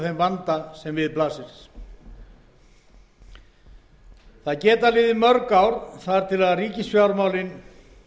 vanda sem við blasir það geta liðið mörg ár þar til ríkisfjármálin